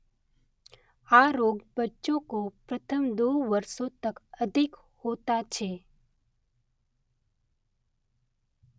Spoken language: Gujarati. આ રોગ બચ્ચોં કો પ્રથમ દો વર્ષોં તક અધિક હોતા છે.